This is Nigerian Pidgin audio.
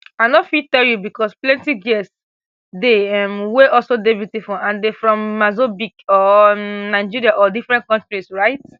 i no fit tell you because plenti girls dey um wey also dey beautiful and dem from mazobique or um nigeria or different countries right